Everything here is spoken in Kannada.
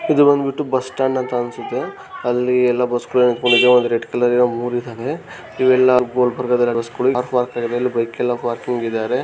ಇದು ಬಂದ್ಬಿಟ್ಟು ಬಸ್ ಸ್ಟಾಂಡ್ ಅಂತ ಅನ್ಸುತ್ತೆ ಅಲ್ಲಿ ಎಲ್ಲ ಬಸ್ಗ ನಿಂತಕೊಂಡಿದ್ದಾವೆ ಒಂದು ರೆಡ್ ಕಲರ್ ದ ಮೂರೂ ಇದಾವೆ ಇವೆಲ್ಲ ಬಸ್ಸಗಳು ಬೈಕ್ ಎಲ್ಲ ಪಾರ್ಕಿಂಗ್ ಇದ್ದಾರೆ .